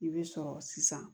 I bɛ sɔrɔ sisan